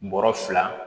Bɔrɔ fila